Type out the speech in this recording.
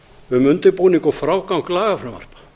um undirbúning og frágang lagafrumvarpa